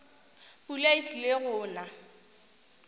pula e tlile go na